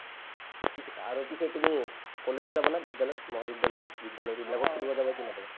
পিছে আৰু পিছে তুমি কলেজত যাবা না বিদ্য়ালয়ত মহাবিদ্য়ালয়ত বিদ্য়ালয়ত এইবিলাকত ফুৰিব যাবা কি নাযাবা ?